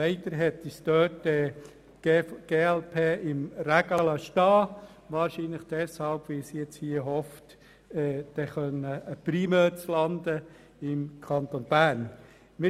Leider hat uns die glp dabei im Regen stehen lassen, wahrscheinlich, weil sie hofft, nun einen Primeur im Kanton Bern zu landen.